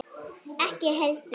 Ekki heldur